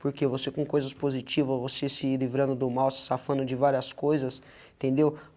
Porque você com coisas positivas, você se livrando do mal, se safando de várias coisas, entendeu?